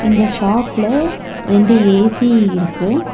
இந்த ஷாப்ல ரெண்டு ஏ_சி இருக்கு.